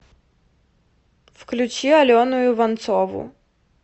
включи алену иванцову